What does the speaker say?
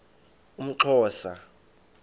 umxhosa